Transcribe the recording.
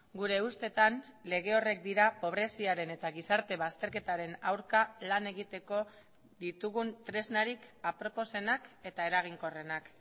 gure ustetan lege horrek dira pobreziaren eta gizarte bazterketaren aurka lan egiteko ditugun tresnarik aproposenak eta eraginkorrenak